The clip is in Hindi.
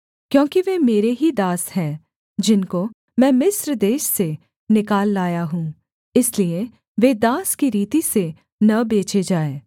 क्योंकि वे मेरे ही दास हैं जिनको मैं मिस्र देश से निकाल लाया हूँ इसलिए वे दास की रीति से न बेचे जाएँ